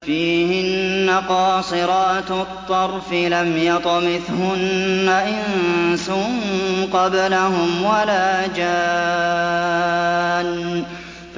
فِيهِنَّ قَاصِرَاتُ الطَّرْفِ لَمْ يَطْمِثْهُنَّ إِنسٌ قَبْلَهُمْ وَلَا جَانٌّ